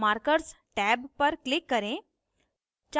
markers tab पर click करें